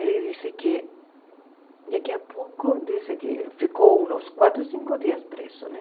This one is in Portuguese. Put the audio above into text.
Ele disse que daqui a pouco, disse que ficou uns quatro, cinco dias preso, né?